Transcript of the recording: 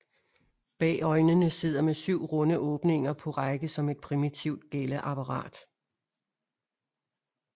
Bag øjnene sidder med syv runde åbninger på række som et primitivt gælleapparat